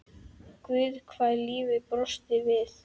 Guð hvað lífið brosti við.